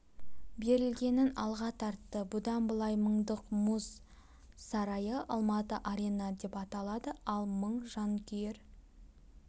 берілгенін алға тартты бұдан былай мыңдық мұз сарайы алматы арена деп аталады ал мың жанкүйер